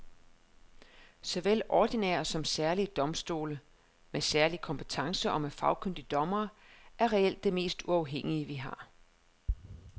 Såvel ordinære som særlige domstole med særlig kompetence og med fagkyndige dommere er reelt det mest uafhængige vi har.